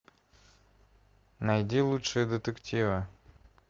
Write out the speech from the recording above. найди лучшие детективы